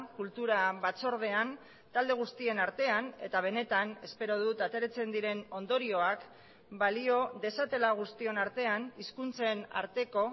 kultura batzordean talde guztien artean eta benetan espero dut ateratzen diren ondorioak balio dezatela guztion artean hizkuntzen arteko